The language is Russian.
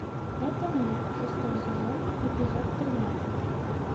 это мы шестой сезон эпизод тринадцать